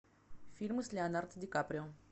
фильмы с леонардо ди каприо